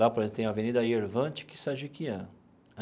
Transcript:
Lá, por exemplo, tem a Avenida Yervant Kissajikian.